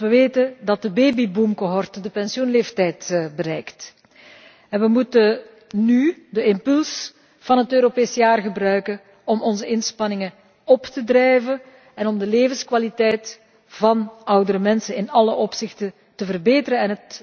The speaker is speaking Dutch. Want we weten dat de babyboom cohorte de pensioenleeftijd bereikt en we moeten nu de impuls van het Europees Jaar gebruiken om onze inspanningen op te voeren en om de levenskwaliteit van oudere mensen in alle opzichten te verbeteren